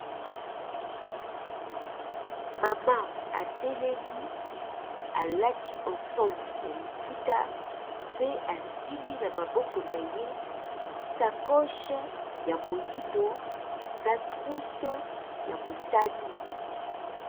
Mama atelemi alati ensemble ya liputa, pe asimbi na maboko na ye sakoche ya moyindo na trouse ya motani.